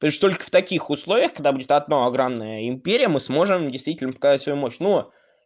лишь только в таких условиях когда будет одно огромная империя мы сможем действительно показать свою мощь но